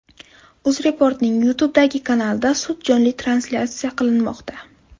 UzReport’ning YouTube’dagi kanalida sud jonli translyatsiya qilinmoqda.